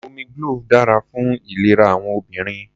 Omi glove dára fún ìlera àwọn obìnrin.